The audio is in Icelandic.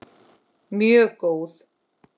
Mjög góð.